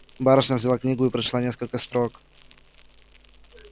барышня взяла книгу и прочла несколько строк